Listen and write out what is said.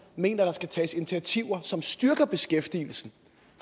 mener der skal tages initiativer som styrker beskæftigelsen